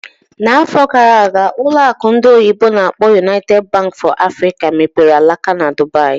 N'afọ gara aga, ụlọ akụ ndị oyibo n'akpọ "United Bank for Africa mepere alaka na Dubaì